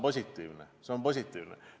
See on positiivne.